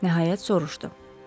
Nəhayət soruşdu.